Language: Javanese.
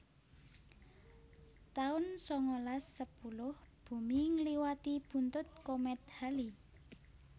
taun sangalas sepuluh Bumi ngliwati buntut komét Halley